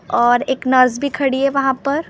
और एक नर्स भी खड़ी है वहाँ पर--